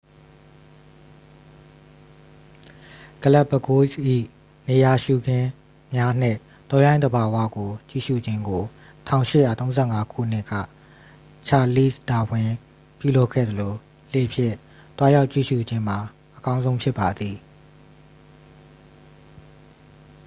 ဂလက်ပ်ပဂိုးစ်၏ နေရာရှုခင်းများနှင့် တောရိုင်းသဘာဝကိုကြည့်ရှုခြင်းကို 1835 ခုနှစ်က ချာလီ့စ်ဒါဝင်း ပြုလုပ်ခဲ့သလို လှေဖြင့်သွားရောက်ကြည့်ရှု့ခြင်းမှာ အကောင်းဆုံးဖြစ်ပါသည်